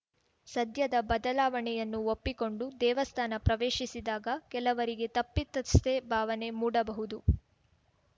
ಸದ್ಯದ ಬದಲಾವಣೆಯನ್ನು ಒಪ್ಪಿಕೊಂಡು ದೇವಸ್ಥಾನ ಪ್ರವೇಶಿಸಿದಾಗ ಕೆಲವರಿಗೆ ತಪ್ಪಿತಸ್ಥೆ ಭಾವನೆ ಮೂಡಬಹುದು